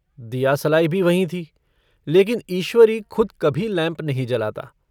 दियासलाई भी वहीं थी लेकिन ईश्वरी खुद कभी लैम्प नहीं जलाता।